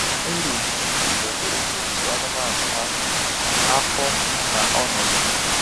Eri m nri dabere n'etu anụmanụ ha, afọ, na ọnọdụ.